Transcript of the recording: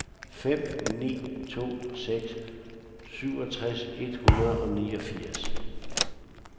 fem ni to seks syvogtres et hundrede og niogfirs